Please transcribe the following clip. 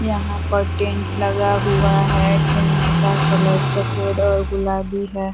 यहां पर टेन्ट लगा हुआ है। टेन्ट का कलर सफेद और गुलाबी है।